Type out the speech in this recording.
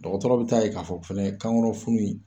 Dɔgɔtɔrɔ bɛ t'a ye k'a fɔ kan kɔnɔ funu in